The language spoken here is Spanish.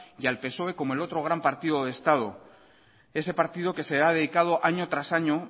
y al psoe como el otro gran partido de estado ese partido que se ha dedicado año tras año